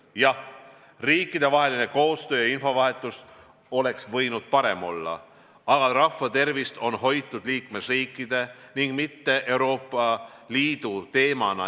Jah, riikidevaheline koostöö ja infovahetus oleks võinud parem olla, aga rahva tervist on hoitud liikmesriikide, mitte Euroopa Liidu teemana.